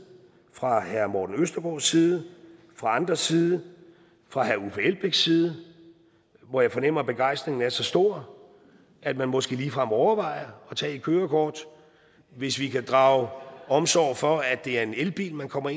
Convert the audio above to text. fra herre morten østergaards side fra andres side fra herre uffe elbæks side hvor jeg fornemmer at begejstringen er så stor at man måske ligefrem overvejer at tage et kørekort hvis vi kan drage omsorg for at det er en elbil man kommer